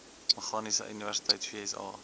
meganiese universiteit vsa